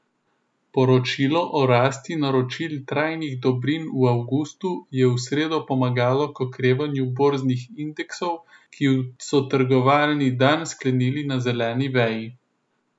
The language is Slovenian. Poročilo o rasti naročil trajnih dobrin v avgustu je v sredo pomagalo k okrevanju borznih indeksov, ki so trgovalni dan sklenili na zeleni veji.